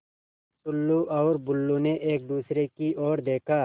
टुल्लु और बुल्लु ने एक दूसरे की ओर देखा